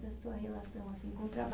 sua relação, assim, com o